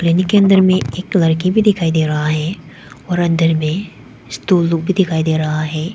इनके अंदर में एक लड़की भी दिखाई दे रहा है और अंदर में स्टूल लोग भी दिखाई दे रहा है।